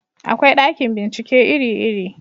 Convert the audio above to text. akwai ɗakin bincike iri iri